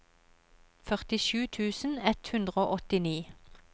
førtisju tusen ett hundre og åttini